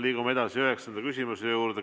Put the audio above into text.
Liigume edasi üheksanda küsimuse juurde.